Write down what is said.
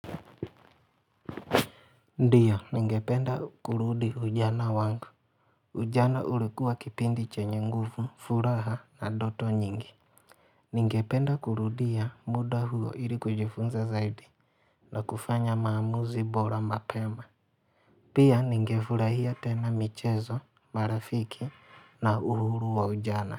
Ndiyo ningependa kurudi ujana wangu ujana ulikua kipindi chenye nguvu, furaha na ndoto nyingi Ningependa kurudia muda huo ili kujifunza zaidi na kufanya maamuzi bora mapema Pia ningefurahia tena michezo, marafiki na uhuru wa ujana.